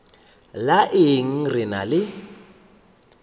la eng re ena le